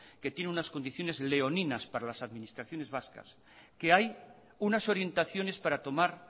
que tiene unas condiciones leoninas para las administraciones vascas que hay unas orientaciones para tomar